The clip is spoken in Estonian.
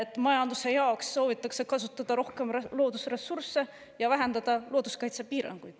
… et soovitakse majanduse jaoks kasutada rohkem loodusressursse ja vähendada looduskaitsepiiranguid.